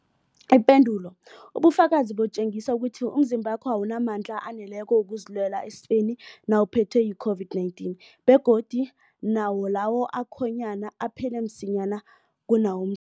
Ipendulo, ubufakazi butjengisa ukuthi umzimbakho awunamandla aneleko wokuzilwela esifeni nawuphethwe yi-COVID-19, begodu nawo lawo akhonyana aphela msinyana kunawom